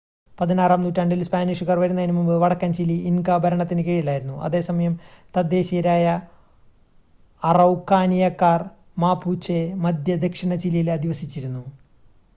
16-ആം നൂറ്റാണ്ടിൽ സ്പാനിഷുകാർ വരുന്നതിനുമുമ്പ് വടക്കൻ ചിലി ഇൻക ഭരണത്തിനു കീഴിലായിരുന്നു. അതേസമയം തദ്ദേശീയരായ അറൗക്കാനിയക്കാർ മാപുചെ മധ്യ ദക്ഷിണ ചിലിയിൽ അധിവസിച്ചിരുന്നു